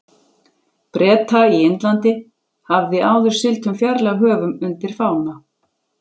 Breta í Indlandi, hafði áður siglt um fjarlæg höf undir fána